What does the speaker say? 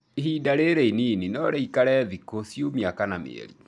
Ihinda rĩrĩ inini norĩikare ndukũ, ciumia kana mĩeri